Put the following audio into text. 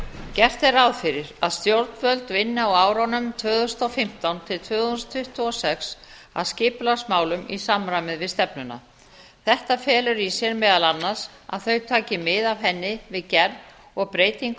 gert er ráð fyrir að stjórnvöld vinni á árunum tvö þúsund og fimmtán til tvö þúsund tuttugu og sex að skipulagsmálum í samræmi við stefnuna þetta felur í sér meðal annars að þau taki mið af henni við gerð og breytingu